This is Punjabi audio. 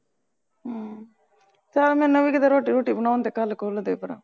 ਚੱਲ ਮੈਨੂੰ ਵੀ ਕੀਤੇ ਰੋਟੀ ਰੂਟੀ ਬਣੋਣ ਦੇ ਕਲ ਕੁਲ ਦੇ ਭਰਾ